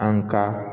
An ka